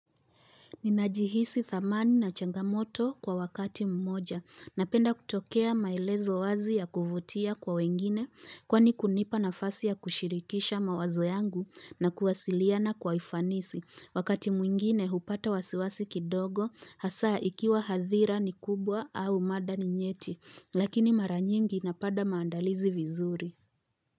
Ninajihisi dhamani na changamoto kwa wakati mmoja. Napenda kutokea maelezo wazi ya kuvutia kwa wengine, kwani kunipa nafasi ya kushirikisha mawazo yangu na kuwasiliana kwa ufanisi. Wakati mwingine hupata wasiwasi kidogo hasa ikiwa hathira ni kubwa au mada ni nyeti. Lakini mara nyingi napada maandalizi vizuri.